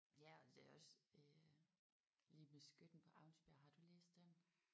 Ja og det er også øh lige med Skytten på Aunsbjerg har du læst den?